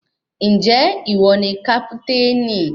Ǹjẹ́ ìwọ ni kápítènì?